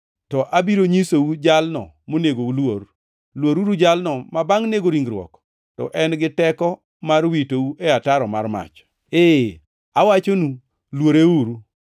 To abiro nyisou jalno monego uluor: Luoruru jalno ma, bangʼ nego ringruok, to en gi teko mar witou e ataro mar mach. Ee, awachonu, luoreuru.